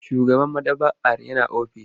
Shugaban maɗaba'ar yana ofis.